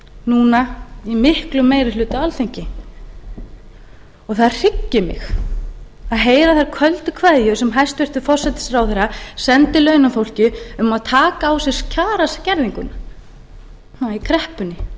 núna í miklum meira hluta á alþingi og það hryggir mig að heyra þær köldu kveðjur sem hæstvirtur forsætisráðherra sendi launafólki um að taka á sig kjaraskerðinguna í kreppunni